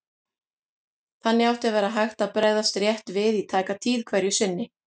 Þannig átti að vera hægt að bregðast rétt við í tæka tíð hverju sinni.